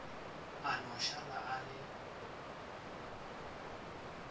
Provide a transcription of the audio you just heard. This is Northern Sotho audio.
a no šala a le